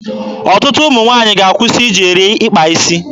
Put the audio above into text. Ọtụtụ ụmụ nwaanyị ga-akwụsị iji eri akpa isi.